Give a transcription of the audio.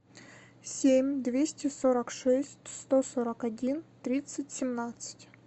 семь двести сорок шесть сто сорок один тридцать семнадцать